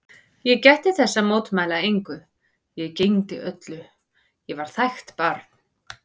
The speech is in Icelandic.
Ég gætti þess að mótmæla engu, ég gegndi öllu, ég var þægt barn.